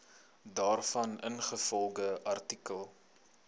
daarvan ingevolge artikel